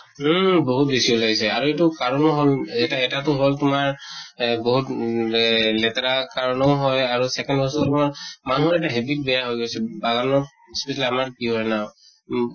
উম বহুত বেছি উলাইছে আৰু এইটো কাৰণো হʼল, এটা, এটাতো হʼল তোমাৰ এ বহুত উম লে লেতেৰা কাৰণো হয় আৰু second হৈছে তোমাৰ মানুহৰ এটা habit বেয়া হৈ গৈছে , বাগানত আমাৰ কি হয় না, উম